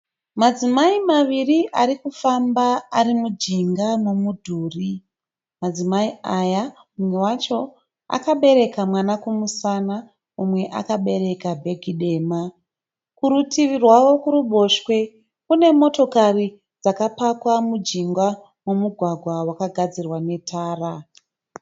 Madzimai maviri ari kufamba ari mujinga memudhuri. Madzimai aya mumwe wacho akabereka mwana kumusana mumwe akabereka bhegi dema. Kurutivi rwavo kuruboshwe kune motokari dzakapakwa mujinga momugwagwa wakagadzirwa netara.